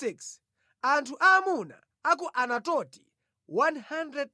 Anthu aamuna a ku Anatoti 128